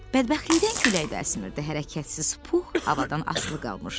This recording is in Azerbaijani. Bədbəxtlikdən külək də əsmirdi, hərəkətsiz Pux havadan asılı qalmışdı.